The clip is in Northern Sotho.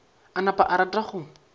a napa a rata go